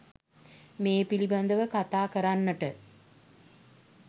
මේ පිළිබඳව කතා කරන්නට